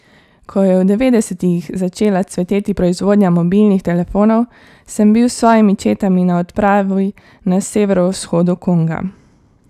Ko je v devetdesetih začela cveteti proizvodnja mobilnih telefonov, sem bil s svojimi četami na odpravi na severovzhodu Konga.